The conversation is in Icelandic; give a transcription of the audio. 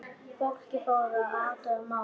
Fólkið fór að athuga málið.